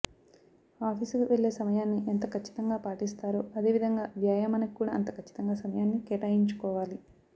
ఆఫీసుకి వెళ్ళే సమయాన్ని ఎంత ఖచ్చితంగా పాటిస్తారో అదే విధంగా వ్యాయామానికి కూడా అంత ఖచ్చితంగా సమయాన్ని కేటాయించుకోవాలి